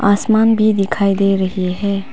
आसमान भी दिखाई दे रही है।